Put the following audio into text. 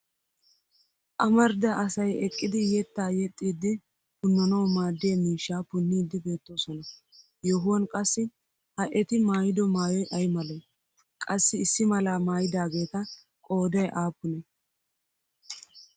Amarida asay eqqidi yettaa yexxiiddi punnanawu maaddiya miishshaa punniiddi beettoosona yohuwan qassi ha eti maayido maayoy aymalee? Qassi issi malaa maayidaageeta qooday aappunee?